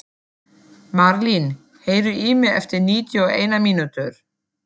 Marlín, heyrðu í mér eftir níutíu og eina mínútur.